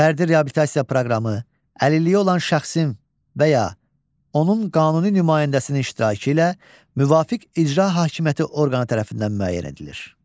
Fərdi reabilitasiya proqramı əlilliyi olan şəxsin və ya onun qanuni nümayəndəsinin iştirakı ilə müvafiq icra hakimiyyəti orqanı tərəfindən müəyyən edilir.